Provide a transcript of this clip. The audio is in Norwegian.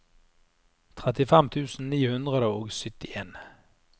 trettifem tusen ni hundre og syttien